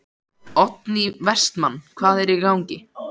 Oddný Vestmann: Hvað er í gangi?